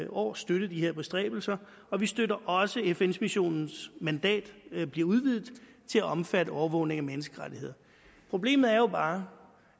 år støttet de bestræbelser og vi støtter også at fn missionens mandat bliver udvidet til at omfatte overvågning af menneskerettigheder problemet er jo bare